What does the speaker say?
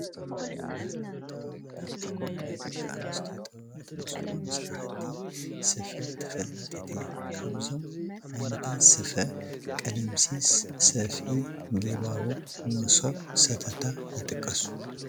ባህላዊ ጥበባት-ሃገርና ናይ ደቂ ኣንስትዮ ጥበባት ብዝኾኑ ስራሕቲ ስፈ ተፈላጢት እያ፡፡ ካብዞም ዓይነታት ስፈ ቀለምሲስ፣ ሰፍኢ፣ ጊባቦ፣ መሶብ፣ ሰተታ፣ ይጥቀሱ፡፡